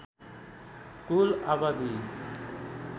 कुल आबादी